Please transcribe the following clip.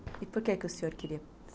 E por que o senhor queria?